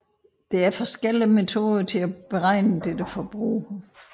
Der er forskellige metoder til at beregne dette forbrug